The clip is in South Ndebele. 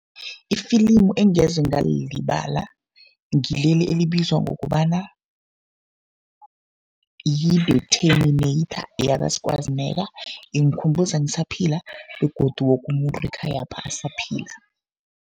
Ifilimu engeze ngalilibala ngileli elibizwa ngokobana yi-The Terminator, yaka-Schwarzenegger. Ingikhumbuza ngisaphila begodu woke umuntu ekhayapha asaphila.